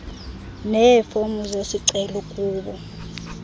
neefomu zesicelo kubo